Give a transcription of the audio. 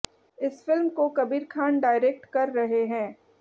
इस फिल्म को कबीर खान डायरेक्ट कर रहे हैं